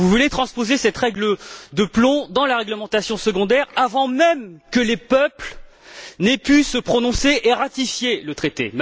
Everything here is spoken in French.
Vous voulez transposer cette règle de plomb dans la réglementation secondaire avant même que les peuples n'aient pu se prononcer et ratifier le traité.